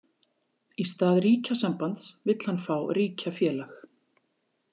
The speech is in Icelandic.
Í stað ríkjasambands vill hann fá ríkjafélag.